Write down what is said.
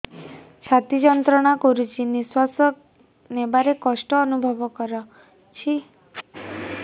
ଛାତି ଯନ୍ତ୍ରଣା କରୁଛି ନିଶ୍ୱାସ ନେବାରେ କଷ୍ଟ ଅନୁଭବ କରୁଛି